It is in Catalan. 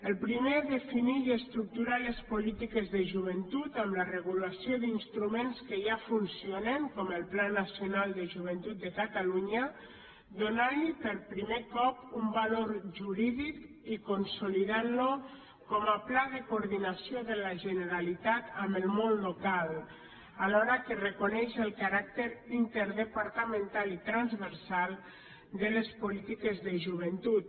el primer defineix i estructura les polítiques de joventut amb la regulació d’instruments que ja funcionen com el pla nacional de joventut de catalunya donant li per primer cop un valor jurídic i consolidant lo com a pla de coordinació de la generalitat amb el món local alhora que reconeix el caràcter interdepartamental i transversal de les polítiques de joventut